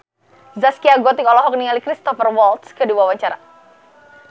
Zaskia Gotik olohok ningali Cristhoper Waltz keur diwawancara